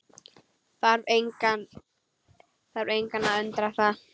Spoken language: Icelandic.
Þarf engan að undra það.